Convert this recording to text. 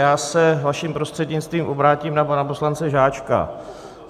Já se, vaším prostřednictvím, obrátím na pana poslance Žáčka.